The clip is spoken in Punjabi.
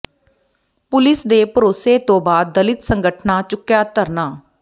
ਪੁਲਿਸ ਦੇ ਭਰੋਸੇ ਤੋਂ ਬਾਅਦ ਦਲਿਤ ਸੰਗਠਨਾਂ ਚੁੱਕਿਆ ਧਰਨਾ